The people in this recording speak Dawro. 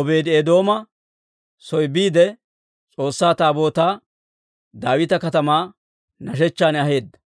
Obeedi-Eedooma soo biide, S'oossaa Taabootaa Daawita Katamaa nashechchan aheedda.